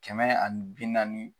Kɛmɛ ani bi naani